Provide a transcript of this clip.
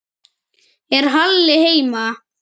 Er Halli heima?